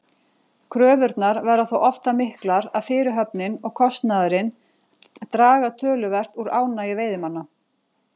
Kröfurnar verða þó oft það miklar að fyrirhöfnin og kostnaðurinn draga töluvert úr ánægju veiðimanna.